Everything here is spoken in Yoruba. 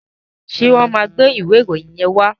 Ṣé wọ́n máa gbé ìwé ìròyìn yẹn wá?